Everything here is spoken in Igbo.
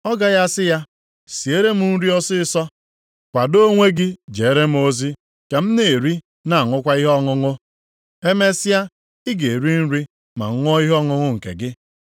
Ọ gaghị asị ya, ‘Siere m nri ọsịịsọ, kwadoo onwe gị jere m ozi ka m na-eri na aṅụkwa ihe ọṅụṅụ; emesịa ị ga-eri nri ma ṅụọ ihe ọṅụṅụ nke gị’?